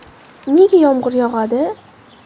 Nega yomg‘ir yog‘adi?